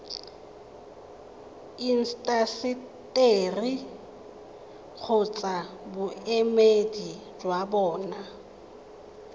intaseteri kgotsa boemedi jwa bona